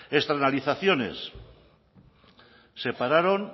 externalizaciones se pararon